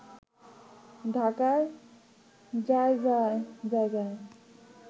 ঢাকায় জায়গায় জায়গায়